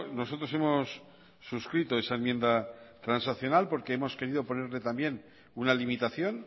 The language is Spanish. nosotros hemos suscrito esa enmienda transaccional porque hemos querido ponerle también una limitación